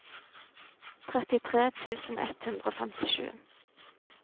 trettitre tusen ett hundre og femtisju